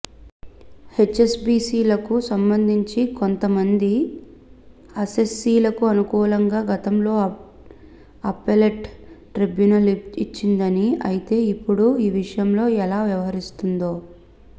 హెచ్ఎస్బిసిలకు సంబంధించి కొంత మంది అస్సెస్సీలకు అనుకూలంగా గతంలో అప్పెలెట్ ట్రిబ్యునల్ ఇచ్చిందని అయితే ఇప్పుడు ఈవిషయంలో ఎలా వ్యవహారిస్తుందో